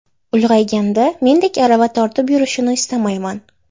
Ulg‘ayganda mendek arava tortib yurishini istamayman.